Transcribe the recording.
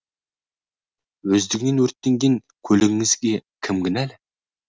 өздігінен өртенген көлігіңізге кім кінәлі